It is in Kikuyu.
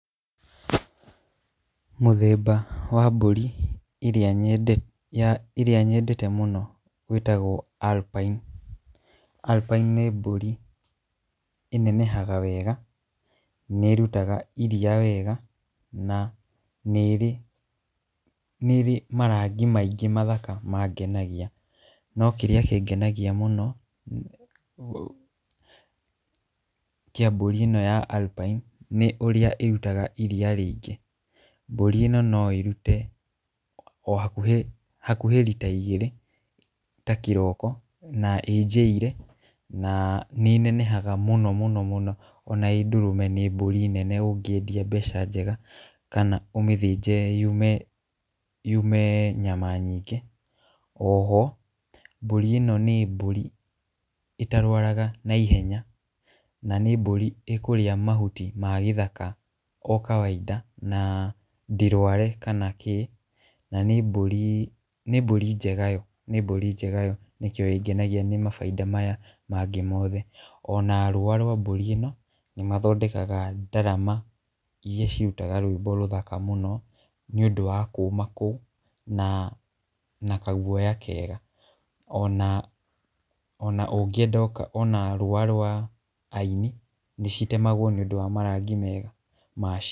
Mũthemba wa mbũri iria, ĩrĩa nyendete mũno wĩtagwo Alpine. Alpine nĩ mbũri ĩnenehaga wega, nĩ ĩrutaga iria wega na nĩ ĩrĩ, nĩ ĩrĩ marangi maingĩ mathaka mangenagia. No kĩrĩa kĩngenagia mũno kĩa mbũri ĩno ya Alpine, nĩ ũrĩa ĩrutaga iria rĩingĩ. Mbũri ino no ĩrute o hakuhĩ, hakuhĩ rita igĩrĩ ta kĩroko na ĩ njiairĩ, na nĩ inenehaga mũno mũno mũno, ona ĩ ndũrũme nĩ mbũri nene ũngĩendia mbeca njega kana ũmĩthínje yume yume nyama nyingĩ. O ho mbũri ĩno nĩ mbũri ĩtarwaraga na ihenya. Na nĩ mbũri ĩkũrĩa mahuti magĩthaka o kawaida na ndĩrware kana kĩ. Na nĩ mbũri, nĩ mbũri njega yo, nĩ mbũri njega yo, nĩkĩo ĩngenagia nĩ mabaida maya mangĩ mothe. Ona rũa rwa mbũri ĩno nĩ mathondekaga ndarama iria cirutaga rwĩmbo rũthaka mũno nĩũndũ wa kũma kũu na na kaguoya kega. Ona ona ũngĩenda ona rũa rwa aini nĩcitemagwo nĩũndũ wa marangi mega macio.